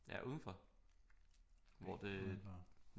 Ja udenfor hvor det